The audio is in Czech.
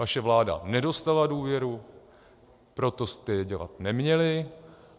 Vaše vláda nedostala důvěru, proto jste je dělat neměli.